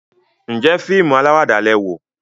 njé fíìmù alawada lẹ wò?